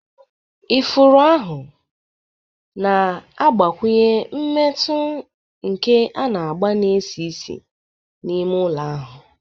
Ifuru ahụ na-agbakwụnye mmetụ nke agba na isi ísì n'ime ụlọ ahụ.